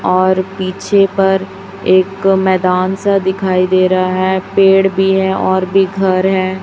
और पीछे पर एक मैदान सा दिखाई दे रहा है पेड़ भी है और भी घर है।